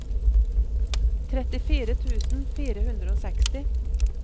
trettifire tusen fire hundre og seksti